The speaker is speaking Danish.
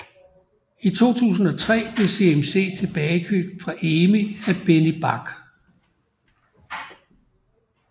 I 2003 blev CMC tilbagekøbt fra EMI af Benny Bach